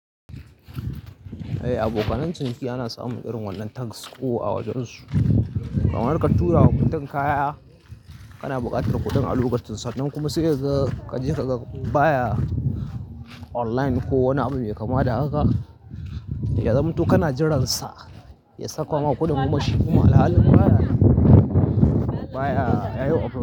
Eh, abokan ciniki ana samun irin wannan tanks ko a wajen su. Kamar ka tura wa mutum kaya kana buƙatar kuɗin a lukacin san nan kuma sai ka je ka baya online ko wani abu mai kama da haka. Ya zamanto kana jiransa, ya saka ma kuɗin kuma shi kuma alhalin baya, baya yayi operation.